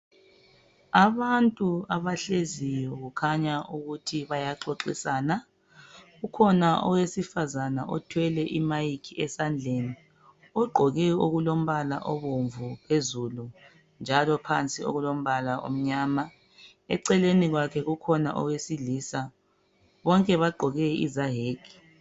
Abantu abahleziyo kukhanya ukuthi bayaxoxisana , kukhona owesifazane othwele imic esandleni ogqoke okulombala obomvu phezulu njalo phansi okulombala omnyama eceleni kwakhe kukhona owesilisa , bonke bagqoke izayeke